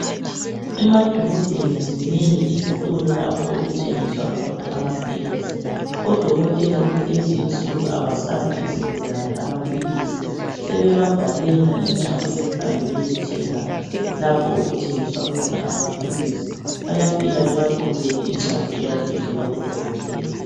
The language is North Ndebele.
Emadolobheni zinengi izitolo lapho okuthengiswa khona amaphilisi odokotela kulezinsuku abasaphi izigulane amaphilisi sebebabhalela incwadi behambe beyethenga lapho okuthengiswa khona amaphilisi bayafika babaqhubele incwadi eyabe ivela kudokotela